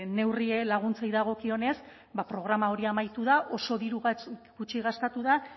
neurrien laguntzei dagokionez ba programa hori amaitu da oso diru gutxi gastatu da